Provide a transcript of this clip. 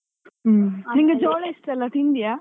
ಹ್ಮ್. ನಿಂಗೆ ಜೋಳ ಇಷ್ಟ ಅಲ್ಲ ತಿಂದಿಯಾ?